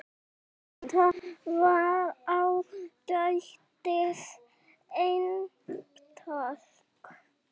Þetta var ágætis eintak